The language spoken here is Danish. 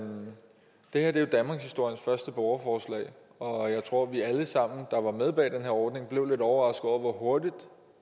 det her er jo danmarkshistoriens første borgerforslag og jeg tror at vi alle sammen der er med bag den her ordning blev lidt overrasket over hvor hurtigt